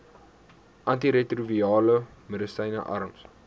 antiretrovirale medisyne arms